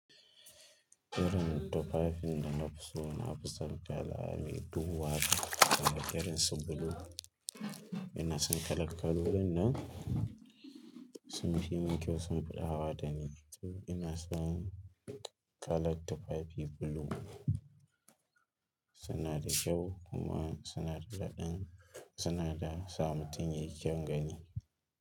Irin tufafin da na fi so na fi son kala me duhu haka, kamar irin su blue. Ina son kalar kalolin nan sun fi min kyau sun fi ɗawo da ni. To ina son kalar tufafi blue, suna da kyau kuma suna da daɗi suna da sabotin yake gani.